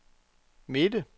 midte